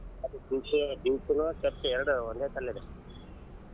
ಅದು beach beach ನು church ಎರಡು ಒಂದೇ ಕಡೆ ಇದೆ.